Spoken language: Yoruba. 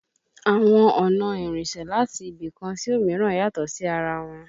Àwọn ọ̀nà ìrìnsẹ̀ láti ibì kan sí òmíràn yàtọ̀ sí ara wọn